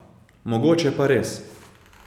Mogoče pa res.